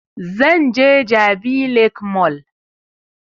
Zan je jabi lake mall